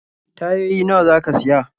Tayoyi nawa za ka siya?